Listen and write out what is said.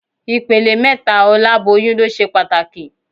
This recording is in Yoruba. Ìpele mẹ́ta oláboyún ló ṣe pàtàkì